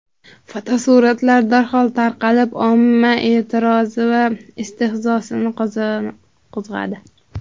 Fotosuratlar darhol tarqalib, omma e’tirozi va istehzosini qo‘zg‘adi.